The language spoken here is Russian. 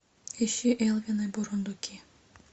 ищи элвин и бурундуки